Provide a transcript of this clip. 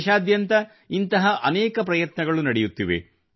ದೇಶಾದ್ಯಂತ ಇಂಥ ಅನೇಕ ಪ್ರಯತ್ನಗಳು ನಡೆಯುತ್ತಿವೆ